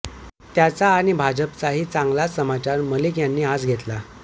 त्याचा आणि भाजपचाही चांगलाच समाचार मलिक यांनी आज घेतला